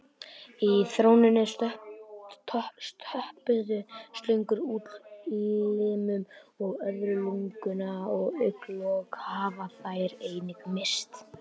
Í þróuninni töpuðu slöngur útlimum og öðru lunganu og augnalok hafa þær einnig misst.